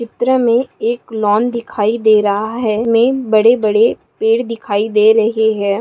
चित्र में एक लॉन दिखाई दे रहा है में बड़े बड़े पेड़ दिखाई दे रहे हैं।